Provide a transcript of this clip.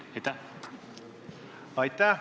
Aitäh!